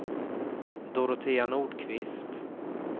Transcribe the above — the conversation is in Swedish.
Dorotea Nordqvist